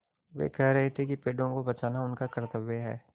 वे कह रहे थे कि पेड़ों को बचाना उनका कर्त्तव्य है